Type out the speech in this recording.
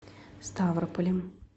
ставрополем